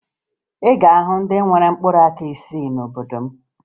Ị ga-ahụ ndị nwere mkpụrụaka isii n'obodo m